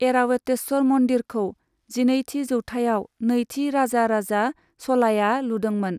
ऐरावतेस्वर मन्दिरखौ जिनैथि जौथाइयाव नैथि राजाराजा च'लाया लुदोंमोन।